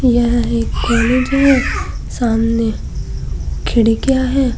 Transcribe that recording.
यह एक कॉलेज है। सामने खिड़कियां है।